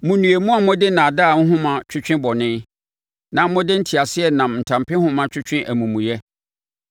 Monnue, mo a mode nnaadaa nhoma twetwe bɔne, na mode nteaseɛnam ntampehoma twetwe amumuyɛ.